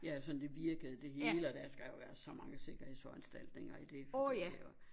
Ja sådan det virkede det hele og der skal jo være så mange sikkerhedsforanstaltninger i det fungerer og